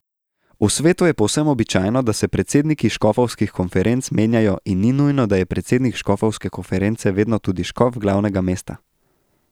V svetu je povsem običajno, da se predsedniki škofovskih konferenc menjajo in ni nujno, da je predsednik škofovske konference vedno tudi škof glavnega mesta.